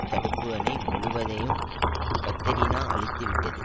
தடுப்பு அணை முழுவதையும் கத்திரினா அழித்துவிட்டது